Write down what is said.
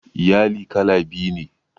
Iyali kala biyu ne.